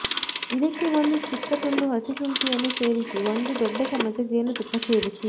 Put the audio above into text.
ಇದಕ್ಕೆ ಒಂದು ಚಿಕ್ಕ ತುಂಡು ಹಸಿಶುಂಠಿಯನ್ನು ಸೇರಿಸಿ ಒಂದು ದೊಡ್ಡಚಮಚ ಜೇನುತುಪ್ಪ ಸೇರಿಸಿ